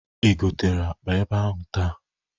Ị gotere akpa ebe ahụ taa?